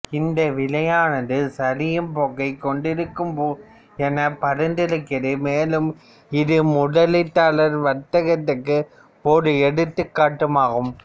இது விலையானது சரியும் போக்கைக் கொண்டிருக்கும் எனப் பரிந்துரைக்கிறது மேலும் இது முதலீட்டாளர் வர்த்தகத்திற்கு ஓர் எடுத்துக்காட்டுமாகும்